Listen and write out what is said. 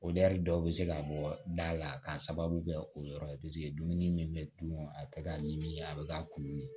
dɔw bɛ se ka bɔ da la k'a sababu kɛ o yɔrɔ ye dumuni min bɛ dun a bɛ kɛ ka ɲimi a bɛ ka kunun de